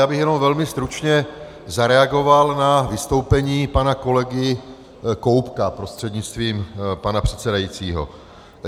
Já bych jenom velmi stručně zareagoval na vystoupení pana kolegy Koubka prostřednictvím pana předsedajícího.